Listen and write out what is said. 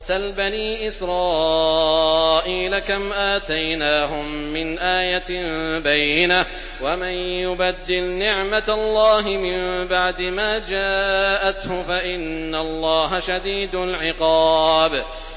سَلْ بَنِي إِسْرَائِيلَ كَمْ آتَيْنَاهُم مِّنْ آيَةٍ بَيِّنَةٍ ۗ وَمَن يُبَدِّلْ نِعْمَةَ اللَّهِ مِن بَعْدِ مَا جَاءَتْهُ فَإِنَّ اللَّهَ شَدِيدُ الْعِقَابِ